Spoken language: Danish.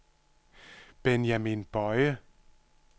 Benjamin Boye